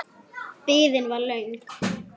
Biðin var löng.